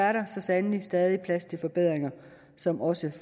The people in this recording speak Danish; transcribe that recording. er der så sandelig stadig plads til forbedringer som også